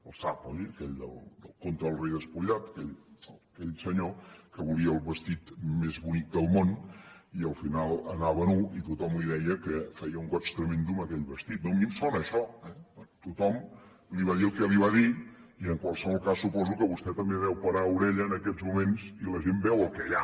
el sap oi aquell el conte del rei despullat aquell senyor que volia el vestit més bonic del món i al final anava nu i tothom li deia que feia un goig tremend amb aquell vestit no a mi em sona a això eh tothom li va dir el que li va dir i en qualsevol cas suposo que vostè també deu parar orella en aquests moments i la gent veu el que hi ha